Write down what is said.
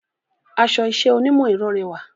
Aṣọ iṣẹ́ onímọ̀ ẹ̀rọ rẹwà